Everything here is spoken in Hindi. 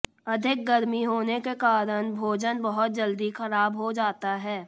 अधिक गर्मी होने के कारण भोजन बहुत जल्दी खराब हो जाता है